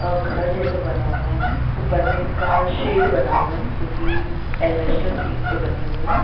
और घर जैसा बना हुआ है। उपर में इसका शेड बना हुआ है जो कि एलवेस्टर शीट से बने हुए है।